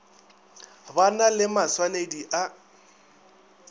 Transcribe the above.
ba na le maswanedi a